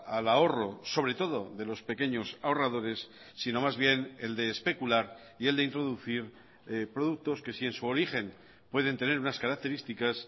al ahorro sobre todo de los pequeños ahorradores sino más bien el de especular y el de introducir productos que si en su origen pueden tener unas características